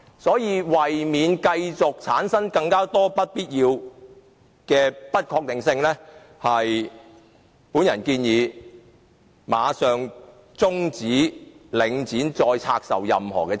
所以，為免繼續產生更多不必要的不確定性，我建議馬上終止領展將任何資產部分再拆售予私人市場的活動。